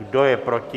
Kdo je proti?